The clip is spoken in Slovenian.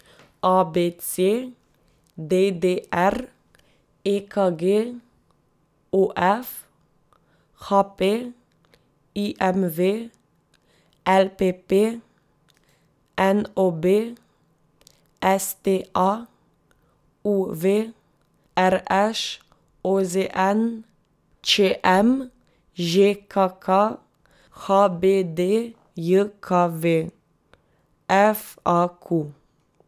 A B C; D D R; E K G; O F; H P; I M V; L P P; N O B; S T A; U V; R Š; O Z N; Č M; Ž K K; H B D J K V; F A Q.